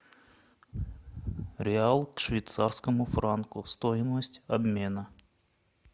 реал к швейцарскому франку стоимость обмена